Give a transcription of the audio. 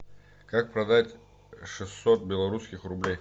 как продать шестьсот белорусских рублей